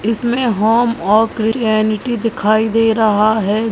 इसमें होम और की दिखाई दे रहा है।